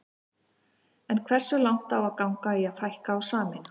En hversu langt á að ganga í að fækka og sameina?